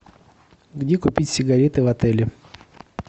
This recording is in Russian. где купить сигареты в отеле